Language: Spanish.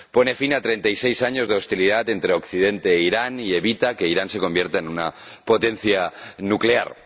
Pone fin a 36 años de hostilidad entre Occidente e Irán, y evita que Irán se convierta en una potencia nuclear.